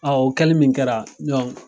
o kɛli min kɛra